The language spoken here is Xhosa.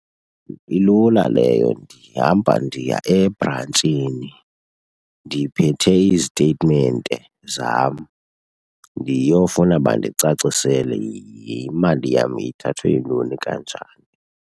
Ilula leyo, ndihamba ndiya ebrantshini ndiphethe iziteyitimente zam ndiyofuna bandicacisele imali yam ithathwe yintoni kanjani.